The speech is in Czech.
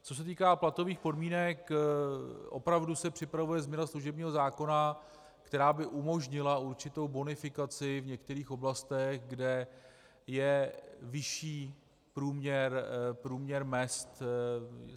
Co se týká platových podmínek, opravdu se připravuje změna služebního zákona, která by umožnila určitou bonifikaci v některých oblastech, kde je vyšší průměr mezd.